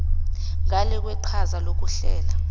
ngale kweqhaza lokuhlela